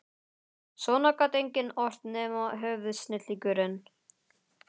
Svona gat enginn ort nema höfuðsnillingurinn